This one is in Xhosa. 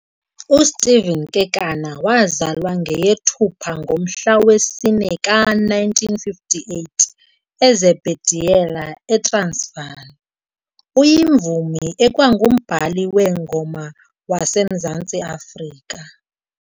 USteve Kekana, wazalwa ngeyeThupha ngomhla wesi-4 ka1958 eZebediela, eTransvaal, uyimvumi ekwangumbhali weengoma waseMzantsi Afrika.